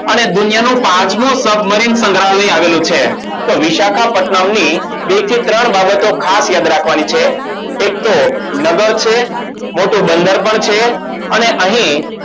અને દુનિયાનુંપાચમું સબમરીન બંધારણીય આવેલું છે તો વિશાખા પથનામ ની બે થી ત્રણ બાબતો ખાસ યાદ રાખવાની છે એક તો નગર છે મોટું બંદર પણ છે અને